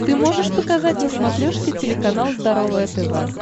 ты можешь показать на смотрешке телеканал здоровое тв